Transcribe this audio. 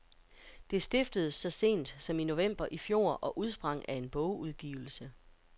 Det stiftedes så sent som i november i fjor og udsprang af en bogudgivelse.